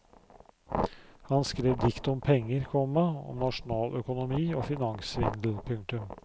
Han skrev dikt om penger, komma om nasjonaløkonomi og finanssvindel. punktum